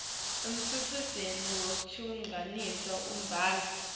umtsetfo wekugcina imibhalo